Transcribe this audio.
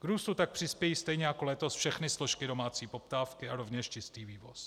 K růstu tak přispějí, stejně jako letos, všechny složky domácí poptávky a rovněž český vývoz.